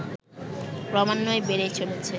ক্রমান্বয়ে বেড়েই চলেছে